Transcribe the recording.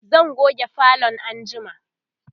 zan goge falon anjima